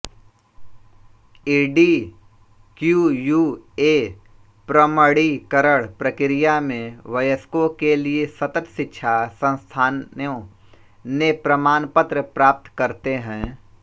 EduQua प्रमणीकरण प्रक्रिया में वयस्कों के लिए सतत शिक्षा संस्थानो ले प्रमानपत्र प्राप्त करतें है